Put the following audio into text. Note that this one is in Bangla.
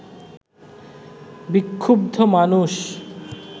বিক্ষুব্ধ মানুষ